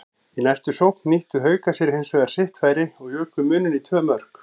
Í næstu sókn nýttu Haukar sér hinsvegar sitt færi og juku muninn í tvö mörk.